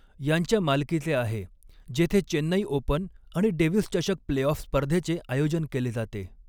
यांच्या मालकीचे आहे, जेथे चेन्नई ओपन आणि डेव्हिस चषक प्ले ऑफ स्पर्धेचे आयोजन केले जाते.